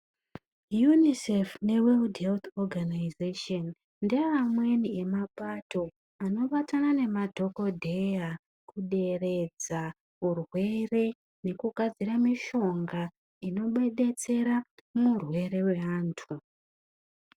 UNICEF neWorld Health Organization ndeamweni emapato anobatana nemadhokodheya kuderedza urwere nekugadzira mitombo. inodetsera panthungu dzinobata antu.